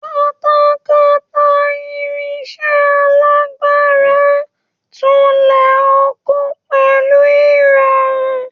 Katakata, irinṣẹ́ alágbára tulẹ̀ ọkọ pẹ̀lú ìrọ̀rùn.